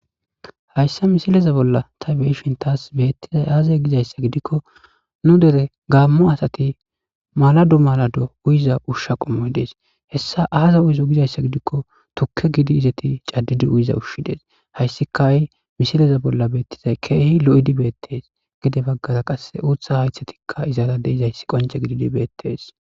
Hayssa misileza bolla tani be7ishin taasi beetizay aaze giiko nu dere gaammo asati maalado maalado uyiza ushsha qomoti deetes,hessa aazi uyizo gizayssa gidikko tukke giidi izeti caddidi uyiza ushshay dees haysika ha7i mosileza bolla keehi lo7idi beetes gede baggara qasseka uuththa hayththetika izara dizayssi qoncce gididi beetes.